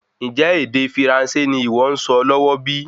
Ńjẹ́ ède Firansé ní ìwọ nsọ lọwọ bí?